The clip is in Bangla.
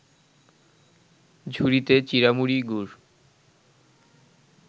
ঝুড়িতে চিঁড়ামুড়ি, গুড়